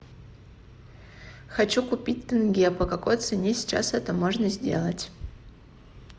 хочу купить тенге по какой цене сейчас это можно сделать